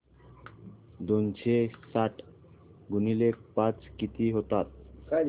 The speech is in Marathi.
दोनशे साठ गुणिले पाच किती होतात